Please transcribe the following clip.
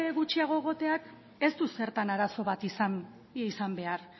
gutxiago egoteak ez du zertan arazo bat izan behar